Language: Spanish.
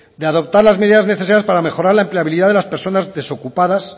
de adoptar las medidas necesarias para mejorar la empleabilidad de las personas desocupadas